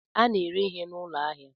A na-ere ihe n'ụlọ ahịa